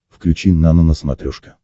включи нано на смотрешке